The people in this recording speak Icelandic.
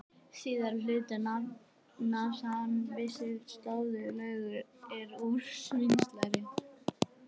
Síðari hluti nafns hans vísar til sósu sem löguð er úr svínslæri.